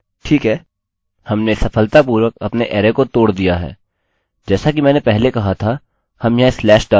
जैसा कि मैंने पहले कहा था हम यहाँ स्लैश डालते हैं और स्पेस को स्लैश से बदल देते हैं